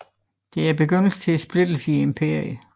Det er begyndelsen til splittelsen i imperiet